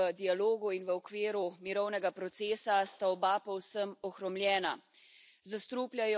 Rešitev je v dialogu in v okviru mirovnega procesa, a sta oba povsem ohromljena.